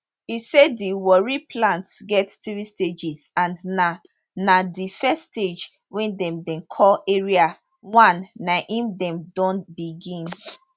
e say di warri plant get three stages and now na di first stage wey dem dem call area 1 na im dem don begin